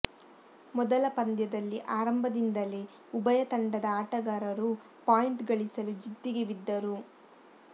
ಮೊದಲ ಪಂದ್ಯದಲ್ಲಿ ಆರಂಭದಿಂದಲೇ ಉಭಯ ತಂಡದ ಆಟಗಾರರು ಪಾಯಿಂಟ್ ಗಳಿಸಲು ಜಿದ್ದಿಗೆ ಬಿದ್ದರು